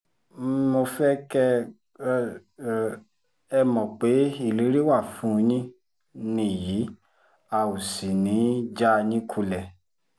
mo fẹ́ kẹ́ ẹ mọ̀ pé ìlérí wa fún yín nìyí a ò sì ní í já yín kulẹ̀